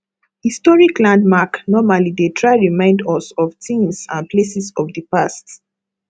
historic landmark normally dey try remimd us of things and places of di past